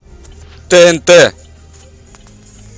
тнт